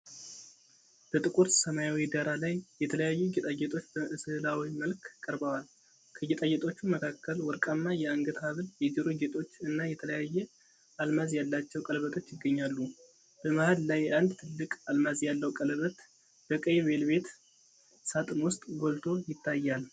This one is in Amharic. በጥቁር ሰማያዊ ዳራ ላይ የተለያዩ ጌጣጌጦች በስዕላዊ መልክ ቀርበዋል። ከጌጣጌጦቹ መካከል ወርቃማ የአንገት ሐብል፣ የጆሮ ጌጦች እና የተለያየ አልማዝ ያላቸው ቀለበቶች ይገኛሉ። በመሃል ላይ አንድ ትልቅ አልማዝ ያለው ቀለበት በቀይ ቬልቬት ሣጥን ውስጥ ጎልቶ ይታያል።